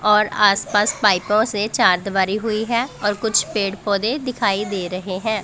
और आसपास पाइपों से चारदिवारी हुई है और कुछ पेड़ पौधे दिखाई दे रहे हैं।